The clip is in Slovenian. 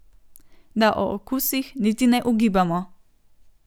Da o okusih niti ne ugibamo.